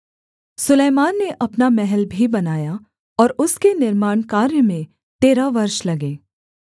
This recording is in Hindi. सुलैमान ने अपना महल भी बनाया और उसके निर्माणकार्य में तेरह वर्ष लगे